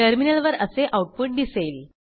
टर्मिनलवर असे आऊटपुट दिसेल